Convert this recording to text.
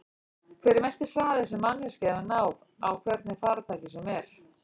Hver er mesti hraði sem manneskja hefur náð á hvernig farartæki sem er?